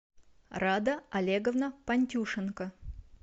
рада олеговна пантюшенко